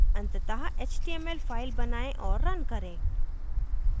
अंततः html file बनाएँ और रन करें